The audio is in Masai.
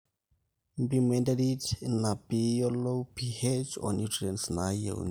mpimo enterit ino piiyiolou ph o nutrients naayieuni